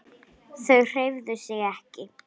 Þau hreyfðu sig ekki.